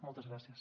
moltes gràcies